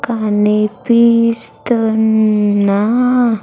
కనిపిస్తున్నా.